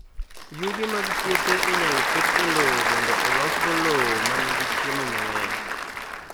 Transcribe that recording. Yugi mag puothe inyalo ket e lowo mondo olosgo lowo ma nigi chiemo mang'eny.